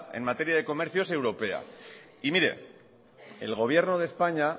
en materia de comercio es europea y mire el gobierno de españa